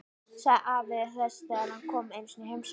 sagði afi þess þegar hann kom einu sinni í heimsókn.